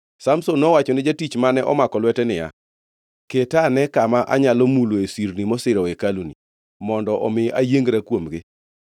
Samson nowachone jatich mane omako lwete niya, “Keta ane kama anyalo muloe sirni mosiro hekaluni, mondo omi ayiengra kuomgi.”